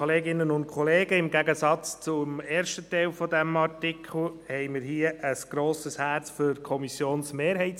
Im Gegensatz zum ersten Teil dieses Artikels schlägt unser Herz hier für die Lösung der Kommissionsmehrheit.